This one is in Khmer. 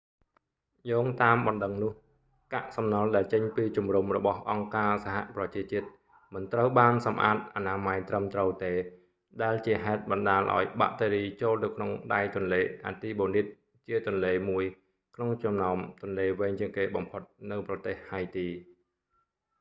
យោងតាមបណ្តឹងនោះ កាក់សំណល់ដែលចេញពីជំរំរបស់អង្គការសហប្រជាជាតិមិនត្រូវបានសម្អាតអនាម័យត្រឹមត្រូវទេ ដែលជាហេតុបណ្តាលឱ្យបាក់តេរីចូលទៅក្នុងដៃទន្លេអាទីបូនីត artibonite ជាទន្លេមួយក្នុងចំណោមទន្លេវែងជាងគេបំផុតនៅប្រទេសហៃទី